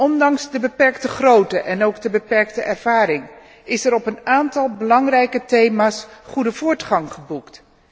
Ondanks de beperkte grootte en ook de beperkte ervaring is er op een aantal belangrijke thema's goede voortgang geboekt.